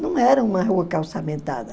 Não era uma rua calçamentada.